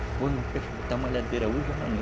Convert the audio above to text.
Depois malhadeira hoje e amanhã.